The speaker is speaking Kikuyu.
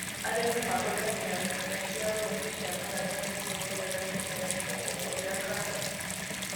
Arĩmi mahũthagĩra nyũmba cia ũrĩmi cia maratathi kwongerera kĩmera kĩa gũkũria karati.